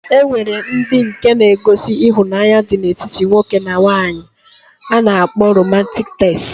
E nwere ndi nke na -egosi ihunanya dị na etiti nwoke na nwanyi a na-akpọ romantiik tels.